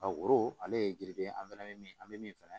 ale ye gide an fɛnɛ be min an be min fɛnɛ